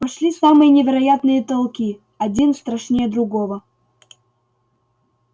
пошли самые невероятные толки один страшнее другого